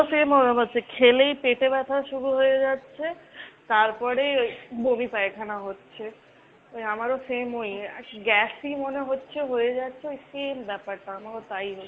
ওই same ওরম হচ্ছে। খেলেই পেটে ব্যথা শুরু হয়ে যাচ্ছে। তারপরে বমি পায়খানা হচ্ছে। ওই আমার ও same ওই। gas ই মনে হচ্ছে হয়ে যাচ্ছে ওই same ব্যাপারটা আমার ও তাই হচ্ছে।